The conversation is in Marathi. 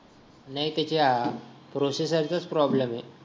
नाही त्याच्या प्रोसेसर चाच प्रॉब्लेम आहे